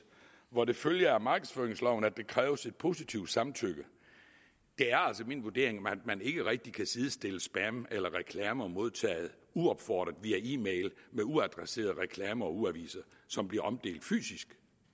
hvor det følger af markedsføringsloven at der kræves et positivt samtykke det er altså min vurdering at man ikke rigtig kan sidestille spam eller reklamer modtaget uopfordret via e mail med uadresserede reklamer og ugeaviser som bliver omdelt fysisk